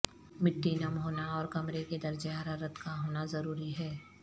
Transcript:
مٹی نم ہونا اور کمرے کے درجہ حرارت کا ہونا ضروری ہے